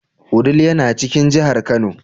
Wudil yana cikin jihar Kano.